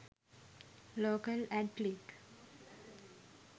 local ad click